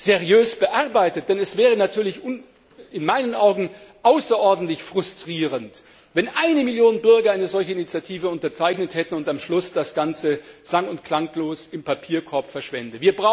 seriös bearbeitet, denn es wäre in meinen Augen außerordentlich frustrierend, wenn eine Million Bürger eine solche Initiative unterzeichnet hätte und am Schluss das Ganze sang und klanglos im Papierkorb verschwände.